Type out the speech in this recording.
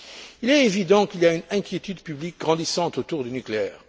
Il est évident qu'il y a une inquiétude publique grandissante autour du nucléaire.